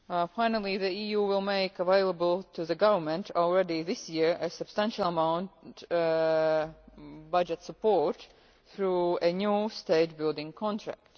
Finally the EU will make available to the government already this year a substantial amount of budget support through a new state building contract.